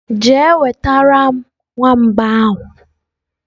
je wetaram nwamba ahu!.